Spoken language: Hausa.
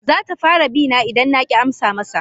Zata fara bina idan na ki amsa masa.